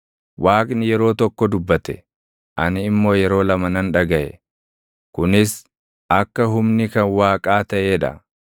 Waaqni yeroo tokko dubbate; ani immoo yeroo lama nan dhagaʼe; kunis akka humni kan Waaqaa taʼee dha.